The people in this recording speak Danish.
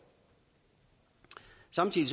samtidig